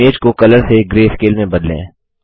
अब इमेज को कलर से ग्रेस्केल में बदलें